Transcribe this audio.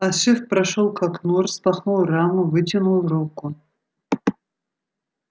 а шеф прошёл к окну распахнул раму вытянул руку